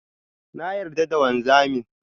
Na yarda da wanzamin.